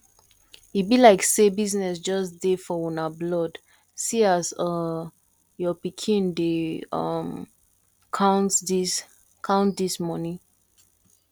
e be like say business just dey for una blood see as um your pikin dey um count dis count dis money